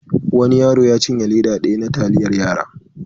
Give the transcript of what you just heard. Wani yaro ya cinye leda daya na taliyar yara.